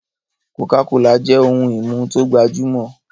cocacola jẹ ohùn imú to gbajumọ.